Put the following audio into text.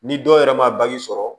Ni dɔw yɛrɛ ma sɔrɔ